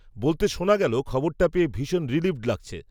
বলতে শোনা গেল খবরটা পেয়ে ভীষণ রিলিভড লাগছে